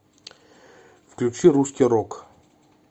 включи русский рок